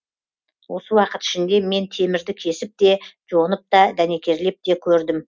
осы уақыт ішінде мен темірді кесіп те жонып та дәнекерлеп те көрдім